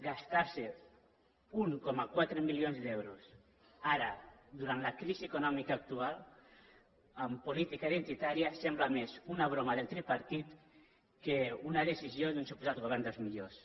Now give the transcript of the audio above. gastar se un coma quatre milions d’euros ara durant la crisi econòmica actual en política identitària sembla més una broma del tripartit que una decisió d’un suposat govern dels millors